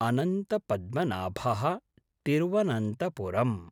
अनन्तपद्मनाभः Thiruvananthapuram